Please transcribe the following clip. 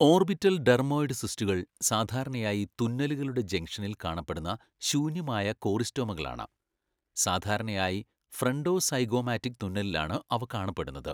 Orbital dermoid സിസ്റ്റുകൾ സാധാരണയായി തുന്നലുകളുടെ ജംഗ്ഷനിൽ കാണപ്പെടുന്ന ശൂന്യമായ കോറിസ്റ്റോമകളാണ്, സാധാരണയായി ഫ്രണ്ടോ സൈഗോമാറ്റിക് തുന്നലിലാണ് അവ കാണപ്പെടുന്നത്.